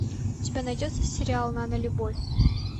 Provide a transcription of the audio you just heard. у тебя найдется сериал нанолюбовь